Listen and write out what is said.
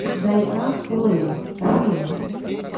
дайан лэйн фильм